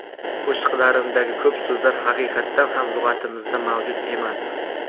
Qo‘shiqlarimdagi ko‘p so‘zlar haqiqatan ham lug‘atimizda mavjud emas.